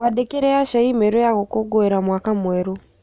Mwandĩkĩre Asha i-mīrū ya gũkũngũĩra mwaka mwerũ